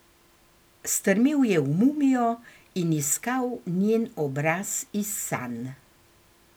Strmel je v mumijo in iskal njen obraz iz sanj.